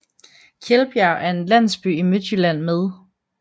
Kjeldbjerg er en landsby i Midtjylland med